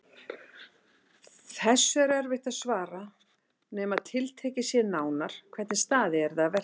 Þessu er erfitt að svara nema tiltekið sé nánar hvernig staðið yrði að verki.